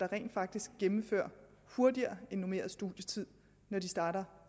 rent faktisk gennemfører hurtigere end på normeret studietid når de starter